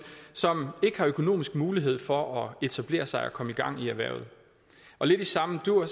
som ikke har økonomisk mulighed for at etablere sig og komme i gang i erhvervet lidt i samme dur